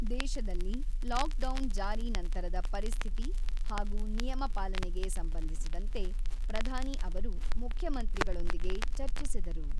ದೇಶದಲ್ಲಿ ಲಾಕ್‌ಡೌನ್ ಜಾರಿ ನಂತರದ ಪರಿಸ್ಥಿತಿ ಹಾಗೂ ನಿಯಮ ಪಾಲನೆಗೆ ಸಂಬಂಧಿಸಿದಂತೆ ಪ್ರಧಾನಿ ಅವರು ಮುಖ್ಯಮಂತ್ರಿಗಳೊಂದಿಗೆ ಚರ್ಚಿಸಿದರು.